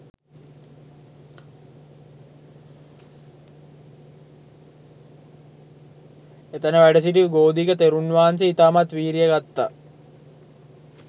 එතැන වැඩසිටි ගෝධික තෙරුන් වහන්සේ ඉතාමත් වීරිය ගත්තා